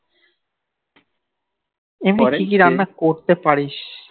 এমনি কি কি রান্না করতে পারিস